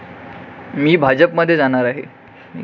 मी भाजपमध्ये जाणार आहे.